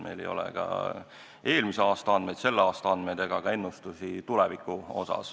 Meil ei ole eelmise aasta andmeid ja selle aasta andmeid ega ka ennustusi tuleviku kohta.